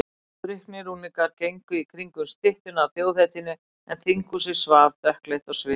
Drukknir unglingar gengu í kringum styttuna af þjóðhetjunni en þinghúsið svaf, dökkleitt á svip.